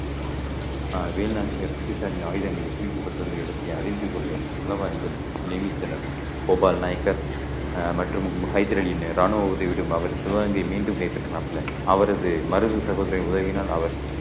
அஹ் வேலுநாச்சியார் பிரிட்டிஷாரின் ஆயுதங்களைக் குவிக்கப்பட்டிருந்த இடத்தை அறிந்து கொள்ள உளவாளிகள் நியமித்தனர் கோபால் நாயக்கர் அஹ் மற்றும் ஹைதர் அலியின் ராணுவ உதவியுடன் அவர் சிவகங்கை மீண்டும் கைப்பற்றினாப்ல அவரது மருது சகோதரி உதவியினால் அவர்